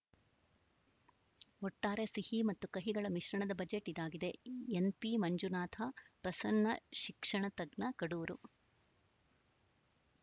ಒಟ್ಟಾರೆ ಸಿಹಿ ಮತ್ತು ಕಹಿಗಳ ಮಿಶ್ರಣದ ಬಜೆಟ್‌ ಇದಾಗಿದೆ ಎನ್‌ಪಿ ಮಂಜುನಾಥ ಪ್ರಸನ್ನ ಶಿಕ್ಷಣ ತಜ್ಞ ಕಡೂರು